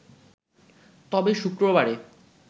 তবে, শুক্রবারে